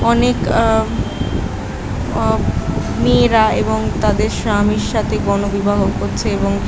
অনেক আ অ মেয়েরা এবং তাদের স্বামীর সাথে গণবিবাহ করছে এবং --